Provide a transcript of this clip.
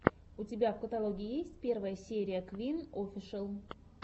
у тебя в каталоге есть первая серия квин офишел